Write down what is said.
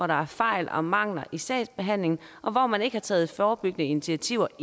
der er fejl og mangler i sagsbehandlingen og at man ikke har taget forebyggende initiativer